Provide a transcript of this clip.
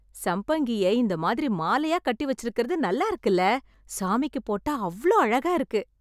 சம்பங்கிய இந்த மாதிரி மாலையா கட்டி வச்சுருக்கது நல்லா இருக்குல. சாமிக்குப் போட்டா அவ்ளோ அழகா இருக்கு.